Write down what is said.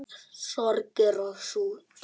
Sorgir og sút